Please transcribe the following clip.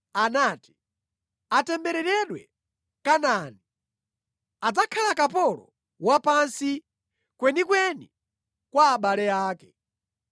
anati, “Atembereredwe Kanaani! Adzakhala kapolo wa pansi kwenikweni kwa abale ake.”